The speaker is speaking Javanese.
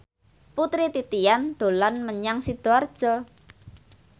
Putri Titian dolan menyang Sidoarjo